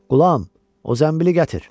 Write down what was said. Qulam, o zənbili gətir.